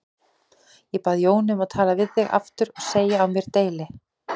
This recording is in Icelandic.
Ég bað Jónu um að tala við þig aftur og segja á mér deili.